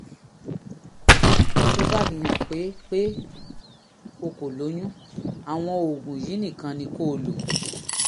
tó bá fihàn pé pé o kò lóyún àwọn oògùn yìí nìkan ni kó o lò